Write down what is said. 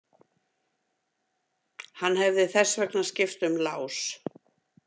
Hann hefði þess vegna skipt um lás.